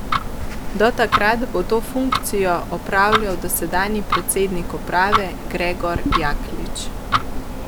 Do takrat bo to funkcijo opravljal dosedanji predsednik uprave Gregor Jaklič.